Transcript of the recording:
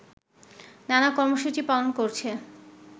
নানা কর্মসূচি পালন করছে